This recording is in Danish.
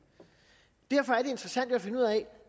derfor er interessant at finde ud af